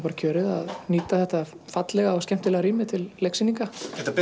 kjörið að nýta þetta fallega rými til leiksýninga